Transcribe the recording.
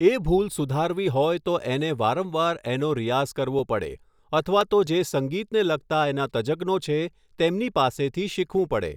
એ ભૂલ સુધારવી હોય તો એને વારંવાર એનો રીયાઝ કરવો પડે અથવા તો જે સંગીતને લગતા જે એના તજજ્ઞો છે તેમની પાસેથી શીખવું પડે